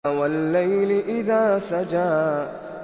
وَاللَّيْلِ إِذَا سَجَىٰ